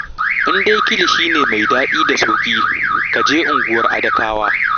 In dai kilishi ne mai daɗi da sauƙi, ka je unguwar Adakawa